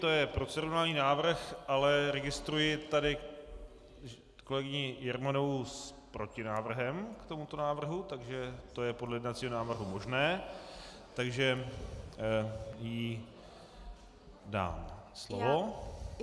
To je procedurální návrh, ale registruji tady kolegyni Jermanovou s protinávrhem k tomuto návrhu, takže to je podle jednacího řádu možné, takže jí dám slovo.